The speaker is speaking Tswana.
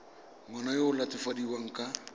ngwana yo o latofadiwang ka